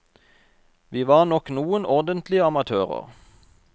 Vi var nok noen ordentlige amatører.